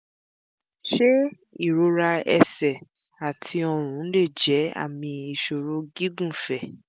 ṣé ìrora ẹsẹ̀ àti ọrùn lè jẹ́ jẹ́ àmì ìṣòro gígùnfẹ̀?